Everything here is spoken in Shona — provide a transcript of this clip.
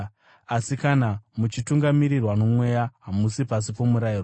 Asi kana muchitungamirirwa noMweya, hamusi pasi pomurayiro.